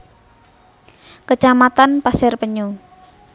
Kecamatan Pasir Penyu